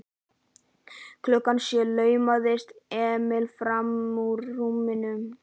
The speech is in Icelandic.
Klukkan sjö laumaðist Emil frammúr rúminu.